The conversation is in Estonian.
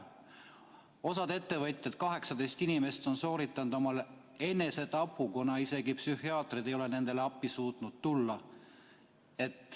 Osa ettevõtjaid, 18 inimest, on sooritanud enesetapu, kuna isegi psühhiaatrid ei ole nendele appi suutnud tulla.